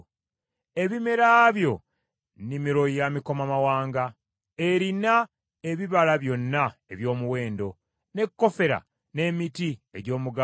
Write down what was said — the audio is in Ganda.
Ebimera byo nnimiro ya mikomamawanga, erina ebibala byonna eby’omuwendo, ne kofera n’emiti egy’omugavu